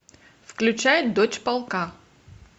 включай дочь полка